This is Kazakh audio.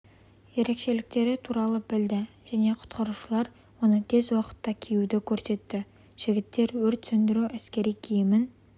ерекшеліктері туралы білді және құтқарушылар оны тез уақытта киюді көрсетті жігіттер өрт сөндіру әскери киімін